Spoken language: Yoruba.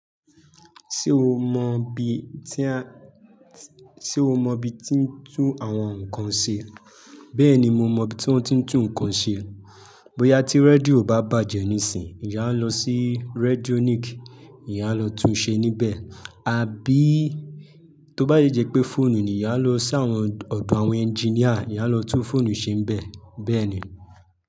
Ṣé o mọ ibi ti ń tún àwọn nǹkan ṣe? Bẹ́ẹ̀ni mo mọ ibi tí wọ́n ti ń tún nǹkan ṣe. Bóyá tí rédíò bá bàjẹ́ nísìnyí, ìyá ń lọ sí Redionik, ìyá ń lọ tun ṣe níbẹ̀, àbí tó bá yi jẹ pé fóònù ni, ìyá lọ sí ọ̀dọ̀ àwọn ẹnjiníà, ìyá lọ tún fóònù ṣe níbẹ̀. Bẹ́ẹ̀ ni.